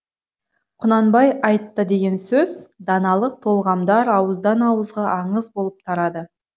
құнанбай айтты деген сөз даналық толғамдар ауыздан ауызға аңыз болып тарады